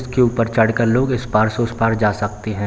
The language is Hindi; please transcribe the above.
इसके ऊपर चढ़ कर लोग इस पार से उस पार जा सकते है।